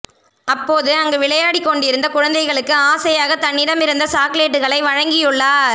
அப்போது அங்கு விளையாடிக் கொண்டிருந்த குழந்தைகளுக்கு ஆசையாக தன்னிடமிருந்த சாக்லேட்டுகளை வழங்கியுள்ளார்